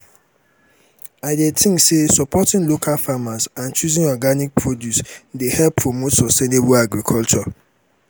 i dey think say supporting local farmers and choosing organic produce dey help promote sustainable agriculture.